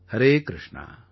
Harekrushna